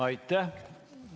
Aitäh!